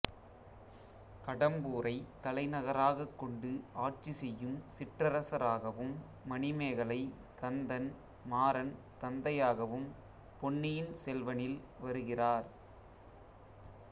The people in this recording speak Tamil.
கடம்பூரை தலைநகராக கொண்டு ஆட்சி செய்யும் சிற்றரசராகவும் மணிமேகலை கந்தன் மாறன் தந்தையாகவும் பொன்னியின் செல்வனில் வருகிறார்